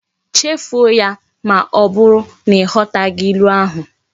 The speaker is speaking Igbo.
Chefuo ya! ma oburu na ighotaghi ilu ahu